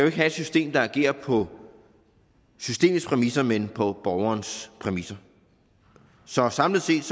ikke have et system der agerer på systemets præmisser men på borgerens præmisser så samlet set